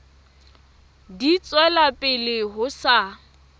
di tswela pele ho sa